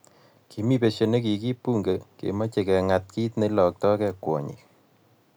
kimi besie ne kikiip bunge kemochei keng'at kiit neiloktogei kwonyik